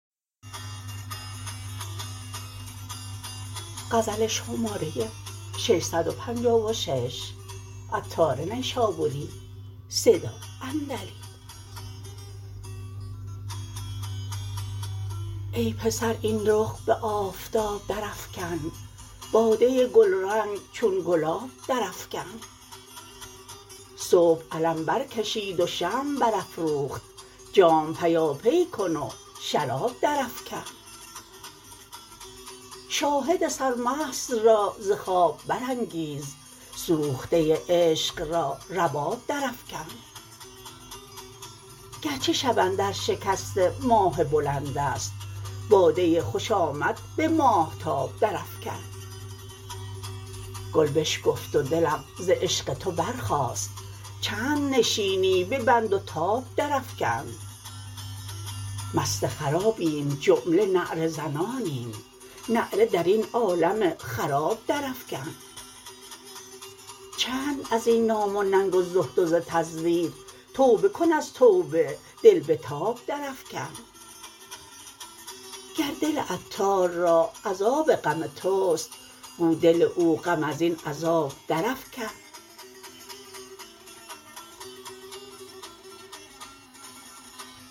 ای پسر این رخ به آفتاب درافکن باده گلرنگ چون گلاب درافکن صبح علم بر کشید و شمع برافروخت جام پیاپی کن و شراب درافکن شاهد سرمست را ز خواب برانگیز سوخته عشق را رباب درافکن گرچه شب اندر شکست ماه بلند است باده خوش آمد به ماهتاب درافکن گل بشکفت و دلم ز عشق تو برخاست چند نشینی به بند و تاب درافکن مست خرابیم جمله نعره زنانیم نعره درین عالم خراب درافکن چند ازین نام و ننگ و زهد و ز تزویر توبه کن از توبه دل بتاب درافکن گر دل عطار را عذاب غم توست گو دل او غم ازین عذاب درافکن